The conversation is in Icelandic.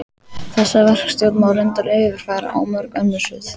Þessa verkstjórn má reyndar yfirfæra á mörg önnur svið.